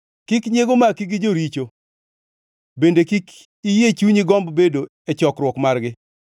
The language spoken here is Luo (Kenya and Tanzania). Kik nyiego maki gi joricho bende kik iyie chunyi gomb bedo e chokruok margi;